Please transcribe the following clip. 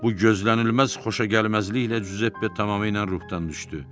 Bu gözlənilməz xoşagəlməzliklə Giuseppe tamamilə ruhdan düşdü.